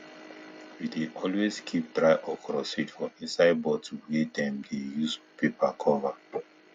we dey always keep dry okra seed for inside bottle wey dem use paper cover